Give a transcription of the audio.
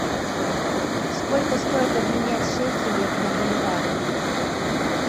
сколько стоит обменять шекели на боливар